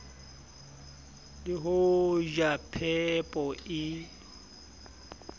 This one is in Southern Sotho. le ho ja phepo e